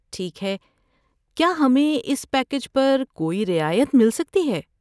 ٹھیک ہے۔ کیا ہمیں اس پیکیج پر کوئی رعایت مل سکتی ہے؟